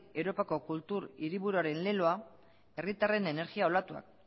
europako hiriburuaren leloa herritarren energia olatuak